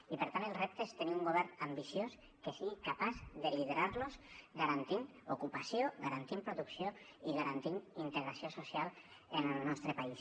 i per tant el repte és tenir un govern ambiciós que sigui capaç de liderar los garantint ocupació garantint producció i garantint integració social en el nostre país